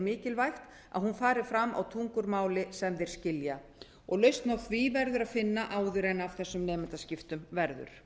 mikilvægt að hún fari fram á tungumáli sem þeir skilja lausn á því verður að finna áður en af þessum nemendaskiptum verður